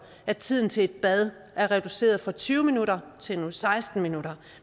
at tiden til et bad er reduceret fra tyve minutter til nu seksten minutter